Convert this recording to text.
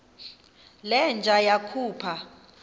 le nja yakhupha